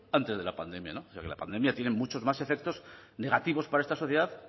antes de la pandemia ya que la pandemia tiene muchos más efectos negativos para esta sociedad